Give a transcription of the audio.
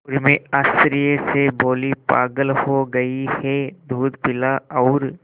उर्मी आश्चर्य से बोली पागल हो गई है दूध पिला और